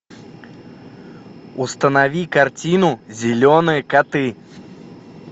установи картину зеленые коты